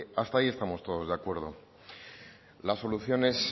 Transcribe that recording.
hasta ahí estamos todos de acuerdo las soluciones